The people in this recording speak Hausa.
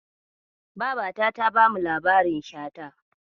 Babata ta bamu labarin Shata.